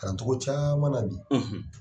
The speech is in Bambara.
Kalaan cogo caman bi.